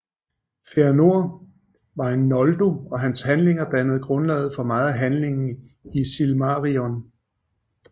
Fëanor var en Noldo og hans handlinger dannede grundlaget for meget af handlingen i Silmarillion